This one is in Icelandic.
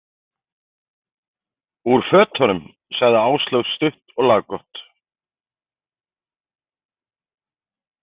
Úr fötunum, sagði Áslaug stutt og laggott.